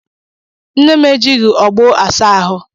Nne m ejighị ọgbọ asa ahụ.